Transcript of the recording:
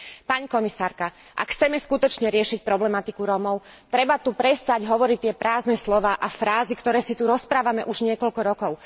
Pani komisárka, ak chceme skutočne riešiť problematiku Rómov, treba tu prestať hovoriť tie prázdne slová a frázy, ktoré si tu rozprávame už niekoľko rokov.